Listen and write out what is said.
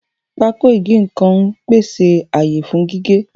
Pákó ìgé-nǹkan ń pèsè àyè fún gígé